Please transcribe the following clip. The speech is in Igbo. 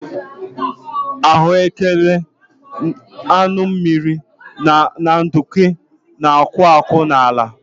Ahuekere, anyụ mmiri na nduku na-akwụ akwụ n'ala